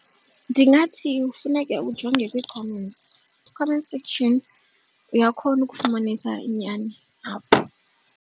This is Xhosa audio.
Ndingathi funeke ujonge kwii-comments, comment section uyakhona ukufumanisa inyani apho.